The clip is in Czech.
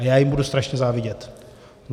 A já jim budu strašně závidět.